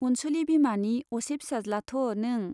अनसुली बिमानि असे फिसाज्लाथ' नों !